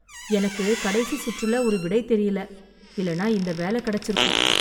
எனக்கு கடைசி சுற்றுல ஒரு விடை தெரில, இல்லைன்னா இந்த வேலை கிடைச்சுருக்கும்.